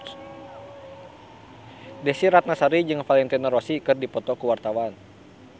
Desy Ratnasari jeung Valentino Rossi keur dipoto ku wartawan